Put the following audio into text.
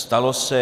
Stalo se.